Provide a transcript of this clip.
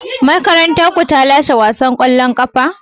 Makarantarku ta lashe wasan kwallon kafa?